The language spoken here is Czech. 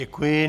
Děkuji.